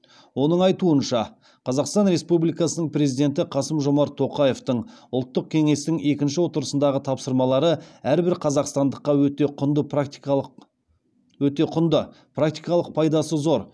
оның айтуынша қазақстан республикасының президенті қасым жомарт тоқаевтың ұлттық кеңестің екінші отырысындағы тапсырмалары әрбір қазақстандыққа өте құнды практикалық пайдасы зор